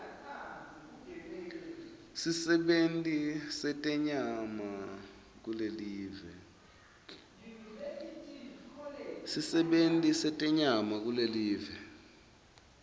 sisebenti setenyama kulelive